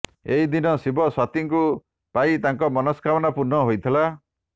ଏହି ଦିନ ଶିବ ସତୀଙ୍କୁ ପାଇ ତାଙ୍କ ମନସ୍କାମନା ପୂର୍ଣ୍ଣ ହୋଇଥିଲା